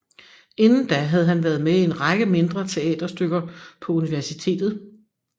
Inden da havde han været med i en række mindre teaterstykker på universitetet